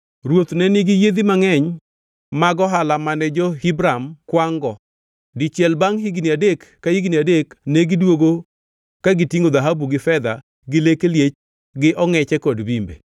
Ruoth ne nigi yiedhi mangʼeny mag ohala mane jo-Hiram kwangʼ-go. Dichiel bangʼ higni adek ka higni adek negidwogo ka gitingʼo dhahabu gi fedha gi leke liech gi ongʼeche kod bimbe.